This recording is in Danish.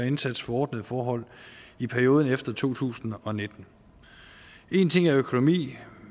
indsats for ordnede forhold i perioden efter to tusind og nitten én ting er økonomi